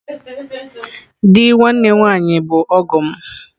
Di nwanne nwaanyi bu ọgọ m.